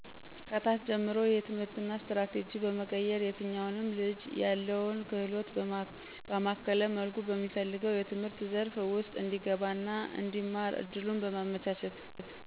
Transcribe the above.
ከታች ጀምሮ የትምህርትና ስትራቴጂ በመቀየር የትኛውንም ልጅ ያለውን ክህሎት ባማከለ መልኩ በሚፈልገው የትምህርት ዘርፍ ውስጥ እንዲገባና እንዲማር እድሉን በማመቻቸት